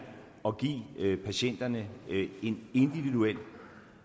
at give patienterne en individuel